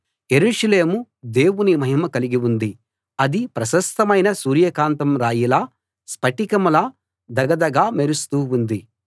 యెరూషలేము దేవుని మహిమ కలిగి ఉంది అది ప్రశస్తమైన సూర్యకాంతం రాయిలా స్ఫటికంలా ధగ ధగా మెరుస్తూ ఉంది